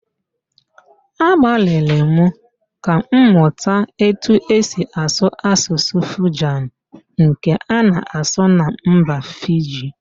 Agbalịrị m ka m mụta etu esi asụ Asụsụ Fijan nke a na-asụ na mba Fiji